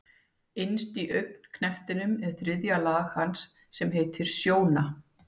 Innst í augnknettinum er þriðja lag hans sem heitir sjóna.